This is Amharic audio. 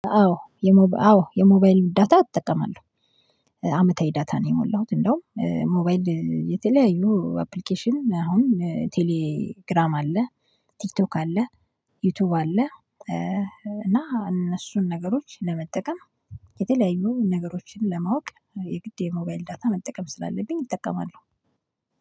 አዎ የሞባይል ዳታ እጠቀማለሁ። አመታዊ ዳታ ነው የሞላሁት እንደውም ሞባይል የተለያዩ አፕሊኬሽን አሁን ቴሌ ግራም አለ ቲክቶክ አለ ዩቲዩብ አለ። እና እነሱን ነገሮች ለመጠቀም የተለያዩ ነገሮችን ለማወቅ የግድ የሞባይል ዳታ መጠቀም ስላለብኝ እጠቀማለሁ።